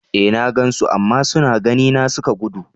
E, na gan su, amma suna gani na suka gudu.